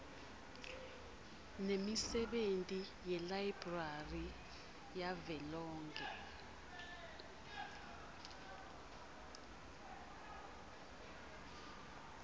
nemisebenti yelayibrari yavelonkhe